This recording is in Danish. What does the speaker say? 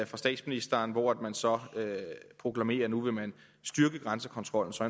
fra statsministeren hvor man så proklamerer at nu vil man styrke grænsekontrollen så